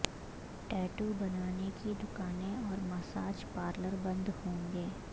tattoo بنانے کی دکانیں اور مساج پارلر بند ہوں گے